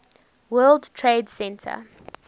world trade center